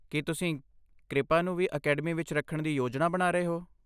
ਕੀ ਤੁਸੀਂ ਕ੍ਰਿਪਾ ਨੂੰ ਵੀ ਅਕੈਡਮੀ ਵਿੱਚ ਰੱਖਣ ਦੀ ਯੋਜਨਾ ਬਣਾ ਰਹੇ ਹੋ?